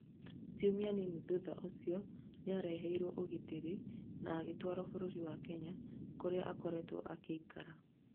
Ciũmia nini thutha ũcio nĩaraheirwo ũgitĩri na agĩtwarwo bũrũri wa Kenya kũrĩa akoretwo agĩikara